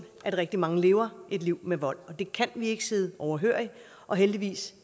at rigtig mange lever et liv med vold det kan vi ikke sidde overhørig og heldigvis